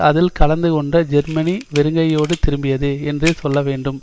அதில் கலந்து கொண்ட ஜெர்மனி வெறுங்கையோடு திரும்பியது என்றே சொல்ல வேண்டும்